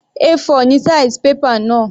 A4 ni size paper náà.